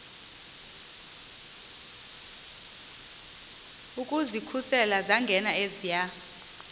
ukuzikhusela zangena eziya